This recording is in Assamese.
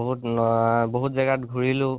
বহুত ন বহুত জেগাত ঘুৰিলো।